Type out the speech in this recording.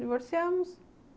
Divorciamos.